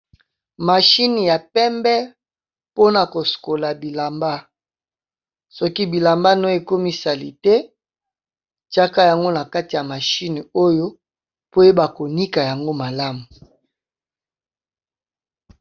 Machine ya pembé mpo na kosokola bilamba. Soki bilamba no ékomi salité tiaka yango na kati ya machine oyo, po oyeba konika yango malamu.